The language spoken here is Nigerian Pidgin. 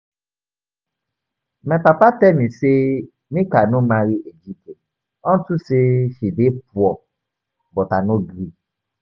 My mama tell me say make I no marry Ejike unto say he dey poor but I no gree